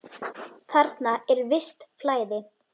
Þarna er visst flæði.